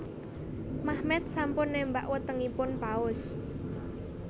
Mehmet sampun némbak wetengipun Paus